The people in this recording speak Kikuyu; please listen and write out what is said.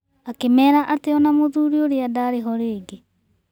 Akĩmera atĩ ona mũthuri ũrĩa ndaarĩ ho rĩngĩ.